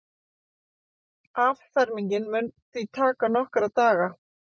Affermingin muni því taka nokkra daga